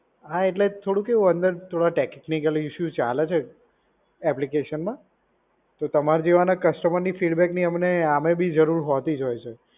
હા એટલે થોડું કેવું અંદર થોડા ટેક્નિકલી ઇશ્યૂ ચાલે છે એપ્લિકેશનમાં. તો તમારા જેવાને કસ્ટમરની ફીડબેકની અમને આમેય બી જરૂર હોતી જ હોય છે.